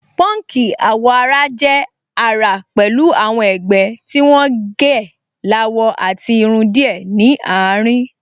Pọ́nkì àwọ̀-ara jẹ́ àrà pẹ̀lú àwọn ẹ̀gbẹ́ tí wọ́n gẹ́ láwọ àti irun díẹ̀ ní àárín